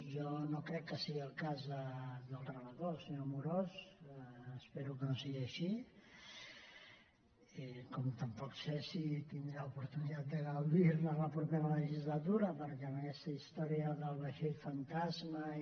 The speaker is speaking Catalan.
jo no crec que sigui el cas del relator senyor amorós espero que no sigui així com tampoc sé si tindrà oportunitat de gaudir ne la propera legislatura perquè amb aquesta història del vaixell fantasma i